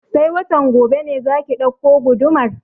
Sai watan gobe ne za ki ɗauko gudumar?